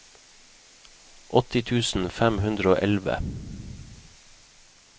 åtti tusen fem hundre og elleve